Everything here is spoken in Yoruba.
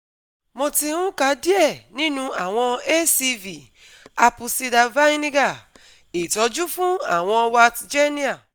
Mo ti n ka diẹ ninu awọn ACV Apple Cider Vinegar itọju fun awọn warts genial